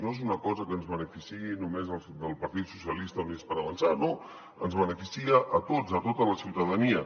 no és una cosa que ens beneficiï només al partit socialistes i units per avançar no ens beneficia a tots a tota la ciutadania